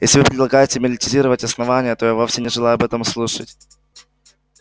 если вы предлагаете милитаризировать основание то я вовсе не желаю об этом слушать